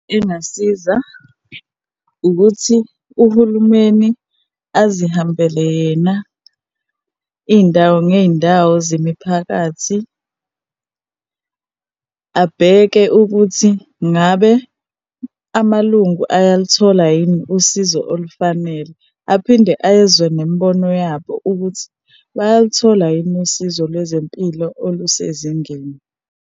Engasiza ukuthi uhulumeni azihambele yena iy'ndawo ngey'ndawo zemiphakathi, abheke ukuthi ngabe amalungu ayaluthola yini usizo olufanele. Aphinde ezwe nemibono yabo ukuthi bayaluthola yini usizo lwezempilo olusezingeni.